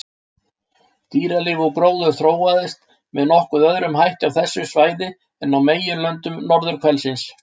Dýralíf og gróður þróaðist með nokkuð öðrum hætti á þessu svæði en á meginlöndum norðurhvelsins.